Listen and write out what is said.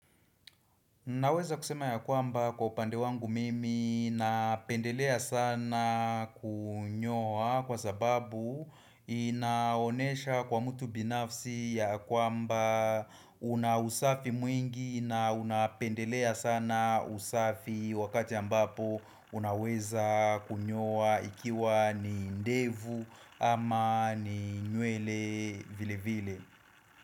Naweza kusema ya kwamba kwa upande wangu mimi napendelea sana kunyoa kwa sababu inaonesha kwa mtu binafsi ya kwamba una usafi mwingi na unapendelea sana usafi wakati ambapo unaweza kunyoa ikiwa ni ndevu ama ni nywele vile vile.